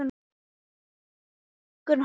Þeir fengu bónda af næsta bæ til að teygja hundinn